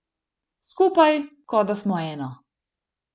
Skupaj, kot da smo eno.